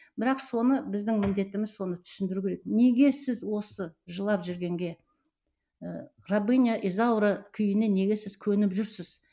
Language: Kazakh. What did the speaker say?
бірақ соны біздің міндетіміз соны түсіндіру керек неге сіз осы жылап жүргенге ы рабыня изаура күйіне неге сіз көніп жүрсіз